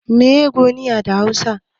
Mene ne 'gomiya' da hausa?